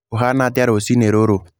ũhana atĩa rũciũ rũrũ?